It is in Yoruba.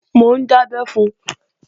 Mò ń dábẹ́ fun